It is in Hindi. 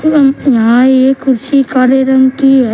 ये यहां ये कुर्सी काले रंग की ह--